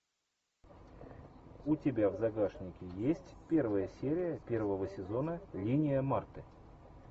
у тебя в загашнике есть первая серия первого сезона линия марты